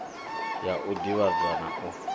ya u divhadza na u